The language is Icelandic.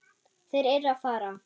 Þeir eru að fara.